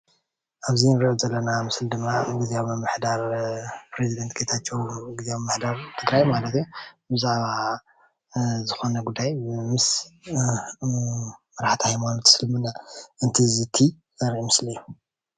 ኣብዚ ንሪኦ ዘለና ምስሊ ድማ ጊዝያዊ ምምሕዳር ፕሬዝዳንት ጌታቸዉ ጊዝያዊ ምምሕዳር ትግራይ ማለት እዩ ብዛዕባ ዝኾነ ጉዳይ ምስ መራሕቲ ሃይማናት እስልምና እንትዝቲ ዘርኢ ምስሊ እዩ።